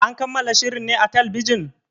An kammala shirin ne a talbijin?